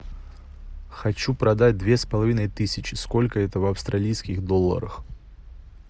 хочу продать две с половиной тысячи сколько это в австралийских долларах